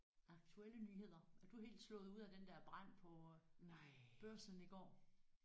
Aktuelle nyheder er du helt slået ud af den der brand på Børsen i går